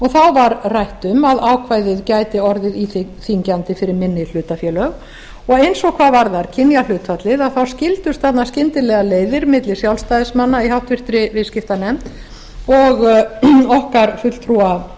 þá var rætt um að ákvæðið gæti orðið íþyngjandi fyrir minni hlutafélög og eins og hvað varðar kynjahlutfallið skildust þarna skyndilega leiðir milli sjálfstæðismanna í háttvirtri viðskiptanefnd og okkar fulltrúa